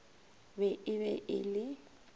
be e be e le